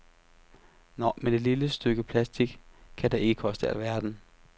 Nå, men et lille stykke plastic kan da ikke koste alverden.